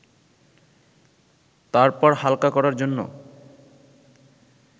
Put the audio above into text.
তারপর হালকা করার জন্য